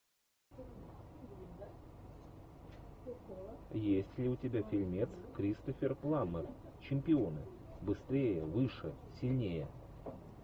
есть ли у тебя фильмец кристофер пламмер чемпионы быстрее выше сильнее